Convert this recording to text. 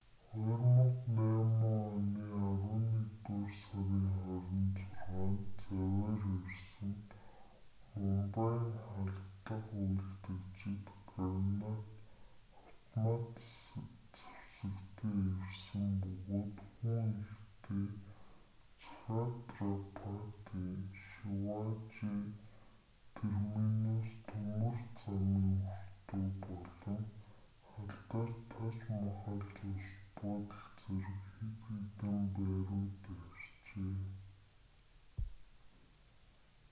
2008 оны арваннэгдүгээр сарын 26-нд завиар ирсэн мумбайн халдлага үйлдэгчид гранат автомат зэвсэгтэй ирсэн бөгөөд хүн ихтэй чхатрапати шиважи терминус төмөр замын өртөө болон алдарт таж махал зочид буудал зэрэг хэд хэдэн бай руу дайрчээ